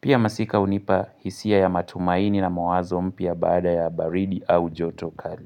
Pia masika hunipa hisia ya matumaini na mawazo mpya baada ya baridi au joto kali.